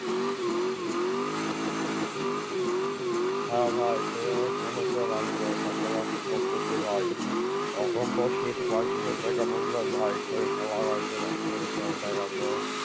হ্যাঁ ভাই সেইরকম শুনেছো আমি তো চাষাবাদ করতেছি ভাই তখন তো শীত প্রায় শেষের দিকে বুজলেন ভাই সরিষা লাগাইছিলাম সরিষাও উঠে গেছে।